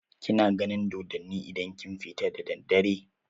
Kina ganin dodonni idan kin fita da daddare?